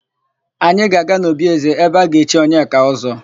Anyị ga-aga n'obi ézē ebe a ga-echi Onyeka Ọ́zọ́.